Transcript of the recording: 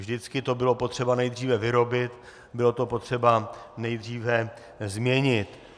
Vždycky to bylo potřeba nejdříve vyrobit, bylo to potřeba nejdříve změnit.